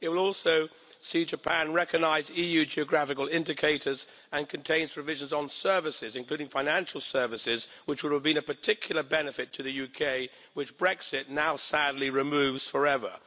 It will also see Japan recognise EU geographical indicators and contains provisions on services, including financial services, which would have been of particular benefit to the UK, which Brexit now sadly removes forever.